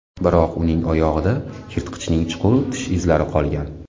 Biroq uning oyog‘ida yirtqichning chuqur tish izlari qolgan.